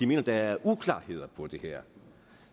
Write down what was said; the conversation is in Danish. mener der er uklarheder om det her